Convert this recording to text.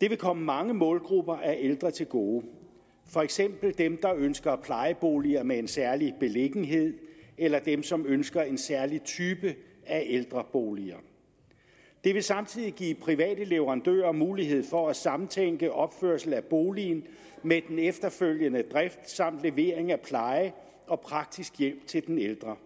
det vil komme mange målgrupper af ældre til gode for eksempel dem der ønsker plejeboliger med en særlig beliggenhed eller dem som ønsker en særlig type af ældrebolig det vil samtidig give private leverandører mulighed for at samtænke opførelse af boligen med den efterfølgende drift samt levering af pleje og praktisk hjælp til den ældre